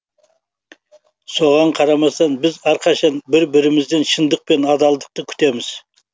соған қарамастан біз әрқашан бір бірімізден шындық пен адалдықты күтеміз